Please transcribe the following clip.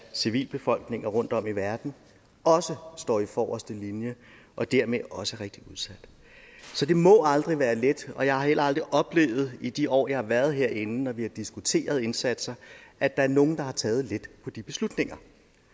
civilbefolkninger rundtom i verden også står i forreste linje og dermed også er rigtig udsat så det må aldrig være let og jeg har heller aldrig oplevet i de år jeg har været herinde når vi har diskuteret indsatser at der er nogen der har taget let på de beslutninger